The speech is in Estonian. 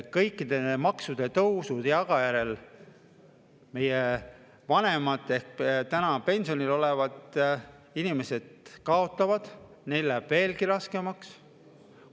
Kõikide maksutõusude tagajärjel meie vanemad ehk praegu pensionil olevad inimesed kaotavad, neil läheb veelgi raskemaks.